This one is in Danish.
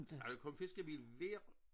Og der kom fiskebil hver